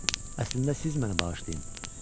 Əslində siz məni bağışlayın.